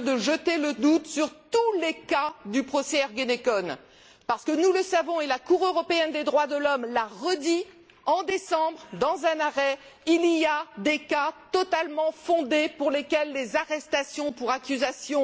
de jeter le doute sur tous les cas du procès Ergenekon, parce que nous le savons et la Cour européenne des droits de l'homme l'a redit, en décembre, dans un arrêt il y a des cas totalement fondés pour lesquels les arrestations pour accusations